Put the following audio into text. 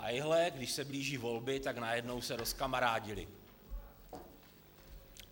A ejhle, když se blíží volby, tak najednou se rozkamarádili.